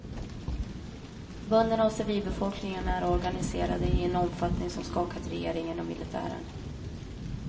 Bönderna och civilbefolkningen är organiserade i en omfattning som skakat regeringen och militären.